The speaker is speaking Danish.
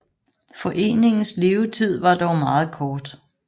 Foreningens levetid var dog meget kort